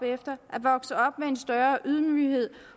med en større ydmyghed